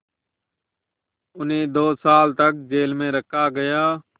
उन्हें दो साल तक जेल में रखा गया